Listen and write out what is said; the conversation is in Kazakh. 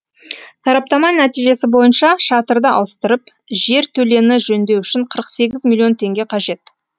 сараптама нәтижесі бойынша шатырды ауыстырып жертөлені жөндеу үшін қырық сегіз миллион теңге қажет